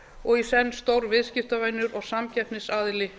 og í senn stór viðskiptavinur og samkeppnisaðili